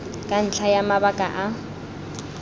ka ntlha ya mabaka a